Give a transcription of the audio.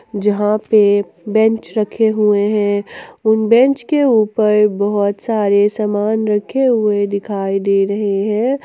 जहां पे बेंच रखे हुए हैं उन बेंच के ऊपर बहुत सारे सामान रखे हुए दिखाई दे रहे हैं।